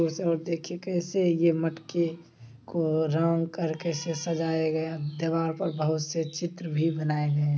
उस ओर देखिए कैसे ये मटके को राउन्ड कर के इसे सजाए गए हैं। दीवाल पर बहोत से चित्र भी बनाए गयें हैं।